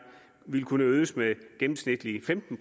vil kunne øges med gennemsnitligt femten